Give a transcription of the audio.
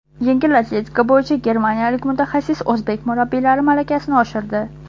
Yengil atletika bo‘yicha germaniyalik mutaxassis o‘zbek murabbiylari malakasini oshirdi .